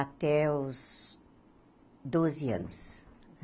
Até os doze anos.